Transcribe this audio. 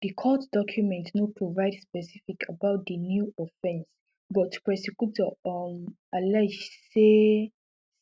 di court document no provide specifics about di new offences but prosecutors um allege say